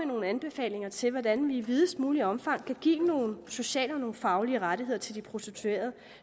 nogle anbefalinger til hvordan vi i videst muligt omfang kan give nogle sociale og faglige rettigheder til de prostituerede